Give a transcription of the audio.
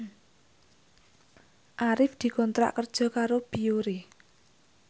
Arif dikontrak kerja karo Biore